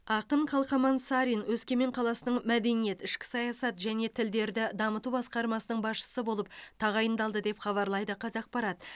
ақын қалқаман сарин өскемен қаласының мәдениет ішкі саясат және тілдерді дамыту басқармасының басшысы болып тағайындалды деп хабарлайды қазақпарат